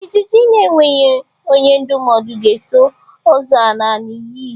Ijiji na-enweghị onye ndụmọdụ na-eso ozu ala n'inyi.